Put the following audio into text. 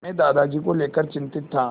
मैं दादाजी को लेकर चिंतित था